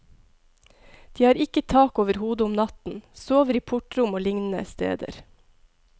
De har ikke tak over hodet om natten, sover i portrom og lignende steder.